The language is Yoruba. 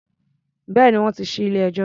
Bẹ́ẹ̀ni, wọ́n ti ṣí ilé-ẹjọ́.